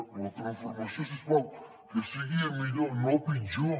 però la transformació si us plau que sigui a millor no a pitjor